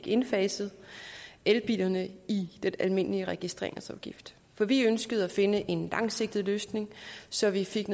indfaset elbilerne i den almindelige registreringsafgift for vi ønskede at finde en langsigtet løsning så vi fik